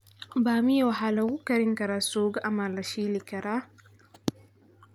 Bamia waxaa lagu karin karaa suugo ama la shiili karaa.